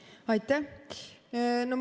Aitäh!